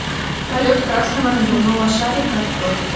полет красного надувного шарика открой